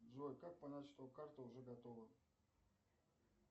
джой как понять что карта уже готова